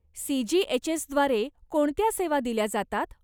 सीजीएचएसद्वारे कोणत्या सेवा दिल्या जातात?